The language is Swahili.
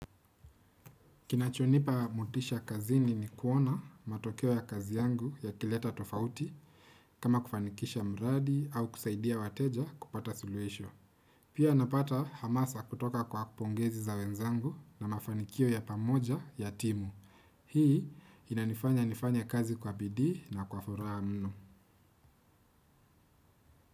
Kinachonipa motisha kazini ni kuona matokeo ya kazi yangu yakileta tofauti, kama kufanikisha mradi au kusaidia wateja kupata suluhisho. Pia napata hamasa kutoka kwa pongezi za wenzangu na mafanikio ya pamoja ya timu. Hii inanifanya nifanye kazi kwa bidii na kwa furaha mno.